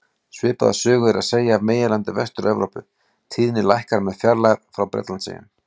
Svipaða sögu er að segja af meginlandi Vestur-Evrópu, tíðnin lækkar með fjarlægð frá Bretlandseyjum.